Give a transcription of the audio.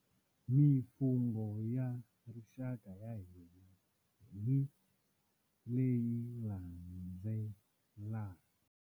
Mifungho ya rixaka ya hina hi leyi landzelaka.